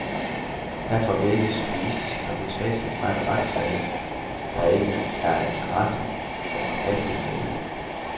Her får vi ikke journalistiske reportager fra en retssag, der er af interesse for almenvellet.